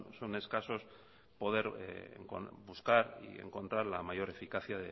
son escasos poder buscar y encontrar la mayor eficacia